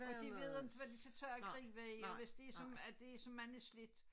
Og de ved inte hvad de skal tag og gribe i og hvis det som at det som mange slidt